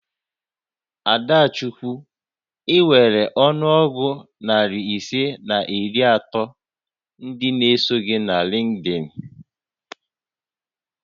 Adachukwu, I nwèrè ọnụ ọgụ narị ise na iri atọ ndị n'eso gị na Lịnkdịn